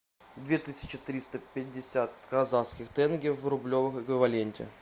две тысячи триста пятьдесят казахских тенге в рублевом эквиваленте